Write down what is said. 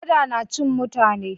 Kada na cin mutane.